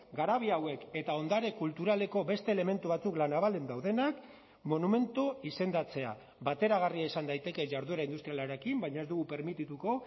garabi hauek eta ondare kulturaleko beste elementu batzuk la navalen daudenak monumentu izendatzea bateragarria izan daiteke jarduera industrialarekin baina ez dugu permitituko